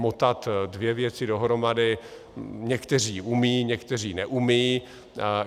Motat dvě věci dohromady někteří umí, někteří neumí.